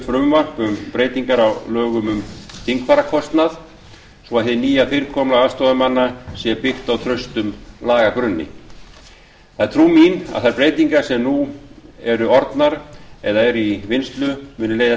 frumvarp um breytingar á lögum um þingfararkostnað svo hið nýja fyrirkomulag aðstoðarmanna sé byggt á traustum lagagrunni það er trú mín að þær breytingar sem nú eru orðnar eða eru í vinnslu muni leiða